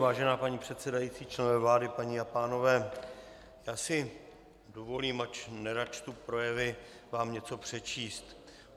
Vážená paní předsedající, členové vlády, paní a pánové, já si dovolím, ač nerad čtu projevy, vám něco přečíst.